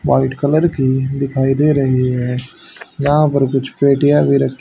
White colour की दिखाई दे रही हैं। यहां पर कुछ पेटियां भी--